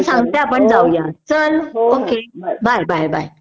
हो चालेल बाय